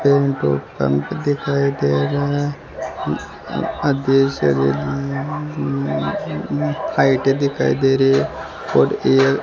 petrol pump दिखाई दे रहा फाइटे दिखाई दे रही है और ये --